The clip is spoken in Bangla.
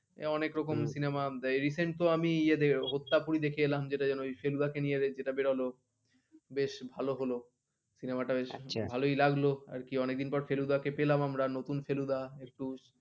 সে অনেক রকম Cinema Recent তো আমি হত্যা পুরো দেখে এলাম যেটা কিনা ফেলুদা কে নিয়ে বেরোলো বেশ ভালো হলো Cinema টা বেশ ভালই লাগলো আর কি অনেকদিন পর ফেলুদা কে পেলাম আমরা নতুন ফেলুদা একটু